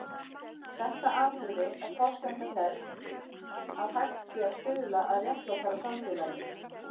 Þetta atriði er forsenda þess að hægt sé að stuðla að réttlátara samfélagi.